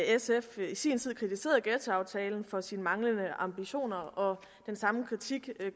sf i sin tid kritiserede ghettoaftalen for sine manglende ambitioner og den samme kritik